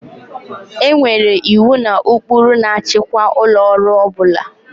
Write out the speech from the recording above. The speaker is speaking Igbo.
E nwere iwu na ụkpụrụ na-achịkwa ụlọ ọrụ ọ bụla